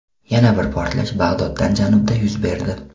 Yana bir portlash Bag‘doddan janubda yuz berdi.